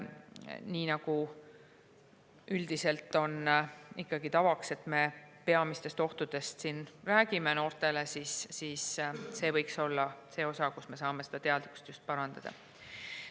Nii nagu üldiselt on tavaks, et me peamistest ohtudest noortele räägime, võiks see olla koht, kus me saame teadlikkust parandada.